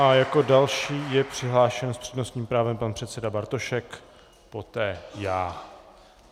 A jako další je přihlášen s přednostním právem pan předseda Bartošek, poté já.